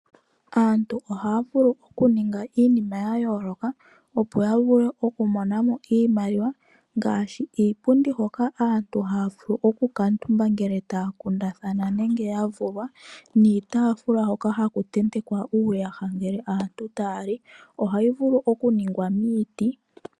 Aantu haavulu okuninaga iinima yayooloka opo yavule okumonamo iimaliwa ngaashi iipundi hoka aantu haavulu oku kaatumba ngele taa kundathana nenge yavulwa niitaafula hoka haku tentekwa uuyaha ngele aantu tayali ohayi vulu okuningwa miiti.